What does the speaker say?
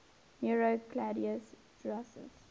nero claudius drusus